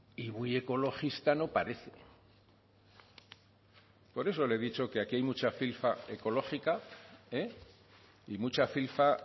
y muy ecologista no parece por eso le he dicho que aquí hay mucha filfa ecológica y mucha filfa